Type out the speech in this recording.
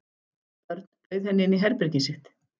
Örn bauð henni inn í herbergið sitt.